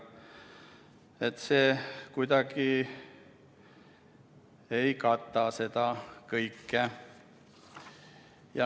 See sõna kuidagi ei kata seda kõike.